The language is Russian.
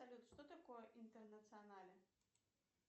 салют что такое интернационале